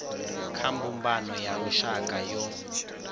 kha mbumbano ya lushaka yo